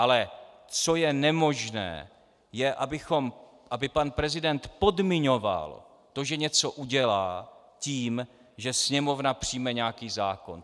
Ale co je nemožné, je, aby pan prezident podmiňoval to, že něco udělá, tím, že Sněmovna přijme nějaký zákon.